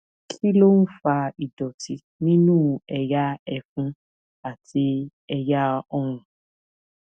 kí ló ń fa ìdòtí nínú ẹyà ẹfun àti ẹyà ọrùn